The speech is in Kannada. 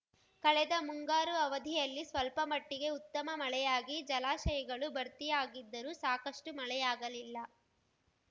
ಕಳೆದ ಮುಂಗಾರು ಅವಧಿಯಲ್ಲಿ ಸ್ವಲ್ಪ ಮಟ್ಟಿಗೆ ಉತ್ತಮ ಮಳೆಯಾಗಿ ಜಲಾಶಯಗಳು ಭರ್ತಿಯಾಗಿದ್ದರೂ ಸಾಕಷ್ಟುಮಳೆಯಾಗಲಿಲ್ಲ